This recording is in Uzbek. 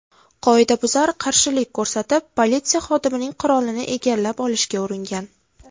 Qoidabuzar qarshilik ko‘rsatib, politsiya xodimining qurolini egallab olishga uringan.